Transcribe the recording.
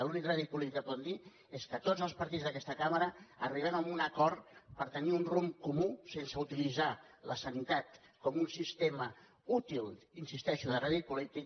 l’únic rèdit polític que pot tenir és que tots els partits d’aquesta cambra arribem a un acord per tenir un rumb comú sense utilitzar la sanitat com un sistema útil hi insisteixo de rèdit polític